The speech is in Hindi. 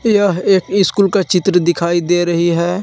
यह एक स्कूल का चित्र दिखाई दे रही है।